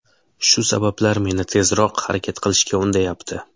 Shu sabablar meni tezroq harakat qilishga undayapti.